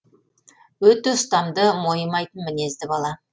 өте ұстамды мойымайтын мінезді бала